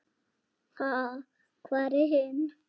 Ha, hvar er hinn?